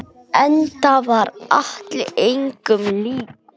Enda var Atli engum líkur.